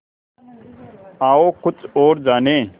आओ कुछ और जानें